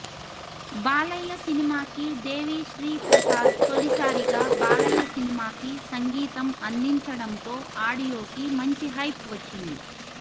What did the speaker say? బాలయ్య సినిమాకి దేవిశ్రీ ప్రసాద్ తొలిసారిగా బాలయ్య సినిమాకి సంగీతం అందించడంతో ఆడియో కి మంచి హైప్ వచ్చింది